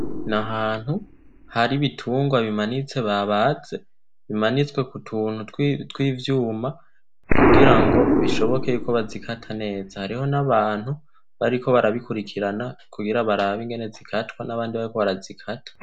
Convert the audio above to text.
Ni ahantu hari ibitungwa bimanitse babaze bimanitswe ku tuntu tw'ivyuma kugira ngo bishoboke ko bazikata neza. Hariho n'abantu bariko barabikurikirana kugira barabe ingene ingene zikatwa, nabandi bariko barazikata.